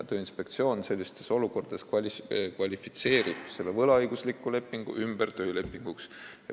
Tööinspektsioon sellistes olukordades kvalifitseerib selle võlaõigusliku lepingu ümber töölepinguks.